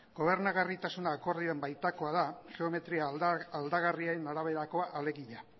gobernagarritasuna akordioan baitakoa da geometria aldagarrien araberakoa alegia